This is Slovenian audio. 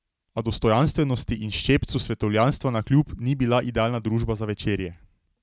A dostojanstvenosti in ščepcu svetovljanstva navkljub ni bila idealna družba za večerje.